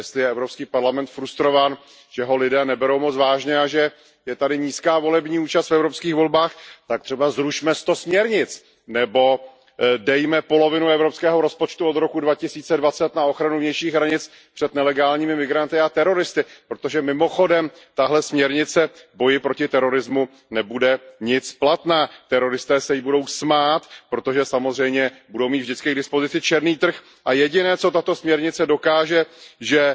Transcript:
Jestli je Evropský parlament frustrován, že ho lidé neberou moc vážně a že je tady nízká volební účast v evropských volbách, tak třeba zrušme sto směrnic nebo dejme polovinu evropského rozpočtu od roku 2020 na ochranu vnějších hranic před nelegálními migranty a teroristy, protože mimochodem tahle směrnice v boji proti terorismu nebude nic platná, teroristé se jí budou smát, protože samozřejmě budou mít vždycky k dispozici černý trh, a jediné, co tato směrnice dokáže, že